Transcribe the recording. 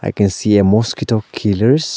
i can see a mosquito killers.